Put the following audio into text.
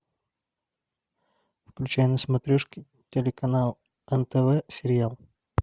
включай на смотрешке телеканал нтв сериал